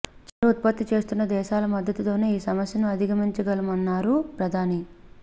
చమురు ఉత్పత్తి చేస్తున్న దేశాల మద్దతుతోనే ఈ సమస్యను అధిగమించగలమన్నారు ప్రధాని